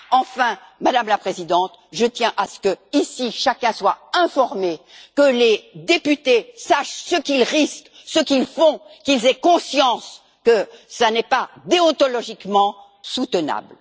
Enfin, Madame la Présidente, je tiens à ce qu'ici chacun soit informé, que les députés sachent ce qu'ils risquent, ce qu'ils font et qu'ils aient conscience que cela n'est pas déontologiquement soutenable.